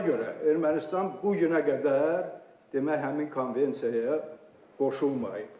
Bax buna görə Ermənistan bu günə qədər demək, həmin konvensiyaya qoşulmayıb.